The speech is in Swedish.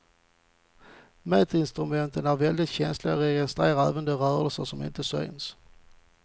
Mätinstrumenten är väldigt känsliga och registrerar även de rörelser som inte syns.